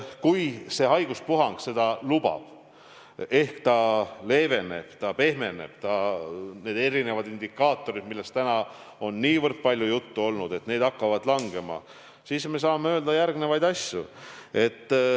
Kui see haiguspuhang seda lubab ehk ta leeveneb ja pehmeneb, kui need erinevad indikaatorid, millest ka täna on niivõrd palju juttu olnud, hakkavad langema, siis me saame öelda järgnevaid asju.